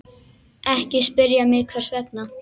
Ekki spyrja mig hvers vegna.